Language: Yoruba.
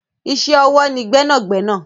Iṣẹ́ ọwọ́ ni gbẹ́nàgbẹ́nà.